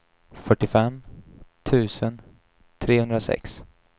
fyrtiofem tusen trehundrasex